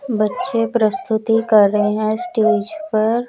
बच्चे प्रस्तुति कर रहे हैं स्टेज पर--